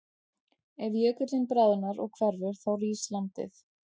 Ef jökullinn bráðnar og hverfur þá rís landið.